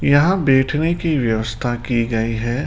यहां बैठने की व्यवस्था की गई है।